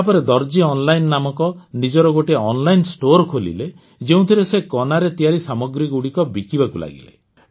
ତାପରେ ଦର୍ଜୀ ଅନଲାଇନ୍ ନାମକ ନିଜର ଗୋଟେ ଅନଲାଇନ ଷ୍ଟୋର ଖୋଲିଲେ ଯେଉଁଥିରେ ସେ କନାରେ ତିଆରି ସାମଗ୍ରୀଗୁଡ଼ିକ ବିକିବାକୁ ଲାଗିଲେ